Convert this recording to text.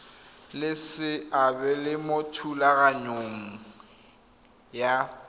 le seabe mo thulaganyong ya